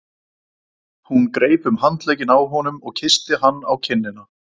Hún greip um handlegginn á honum og kyssti hann á kinnina.